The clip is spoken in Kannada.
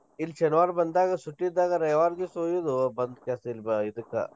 ಇಲ್ಲ್ ಶನಿವಾರ್ ಬಂದಾಗ ಸುಟಿ ಇದ್ದಾಗ ರವಿವಾರ್ ದಿವಸ ಒಯ್ಯುದು ಬಂದಕ್ಯಾಸ ಬ~ ಇದಕ್ಕಾ.